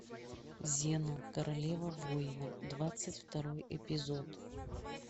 зена королева воинов двадцать второй эпизод